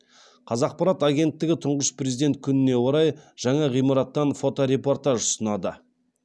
қазақпарат агенттігі тұңғыш президент күніне орай жаңа ғимараттан фоторепортаж ұсынады